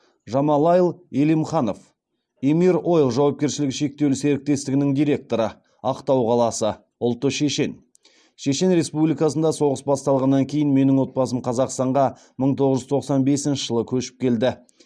жамалайл элимханов емир ойл жауапкершілігі шектеулі серіктестігінің директоры ақтау қаласы ұлты шешен шешен республикасында соғыс басталғаннан кейін менің отбасым қазақстанға мың тоғыз жүз тоқсан бесінші жылы көшіп келді